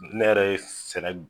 Ne yɛrɛ ye sɛnɛ b